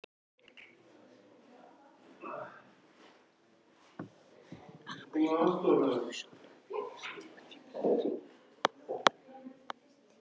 Af hverju lætur þú svona út í Bellu frænku?